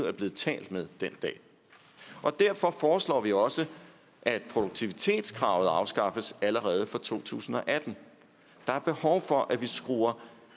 er blevet talt med den dag derfor foreslår vi også at produktivitetskravet afskaffes allerede fra to tusind og atten der er behov for at vi skruer